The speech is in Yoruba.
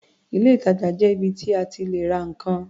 Ilé-ìtajà jẹ́ ibi tí a ti lè ra nǹkan.